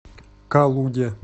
калуге